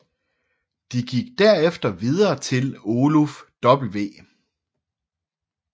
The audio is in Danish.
De gik derefter videre til Oluf W